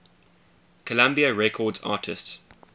columbia records artists